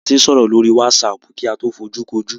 A ti ń sọ̀rọ̀ lórí wásaàpù kí a tó fojúkojú.